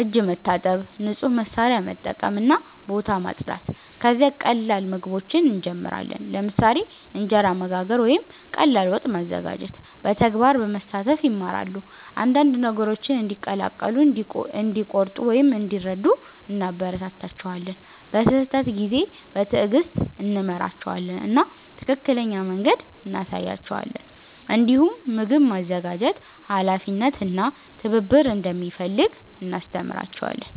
እጅ መታጠብ፣ ንጹህ መሳሪያ መጠቀም እና ቦታ ማጽዳት። ከዚያ ቀላል ምግቦችን እንጀምራለን፣ ለምሳሌ እንጀራ መጋገር ወይም ቀላል ወጥ ማዘጋጀት። በተግባር በመሳተፍ ይማራሉ፤ አንዳንድ ነገሮችን እንዲቀላቀሉ፣ እንዲቆርጡ ወይም እንዲረዱ እናበረታታቸዋለን። በስህተት ጊዜ በትዕግስት እንመራቸዋለን እና ትክክለኛ መንገድ እንሳያቸዋለን። እንዲሁም ምግብ ማዘጋጀት ኃላፊነት እና ትብብር እንደሚፈልግ እናስተምራቸዋለን።